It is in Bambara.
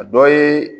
A dɔ ye